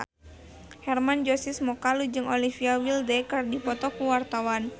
Hermann Josis Mokalu jeung Olivia Wilde keur dipoto ku wartawan